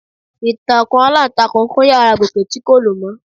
Ìtàkùn aláǹtakùn kún yàrá Gòkè tí kò lò mọ́.